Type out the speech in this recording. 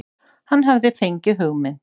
Hann hafði fengið hugmynd.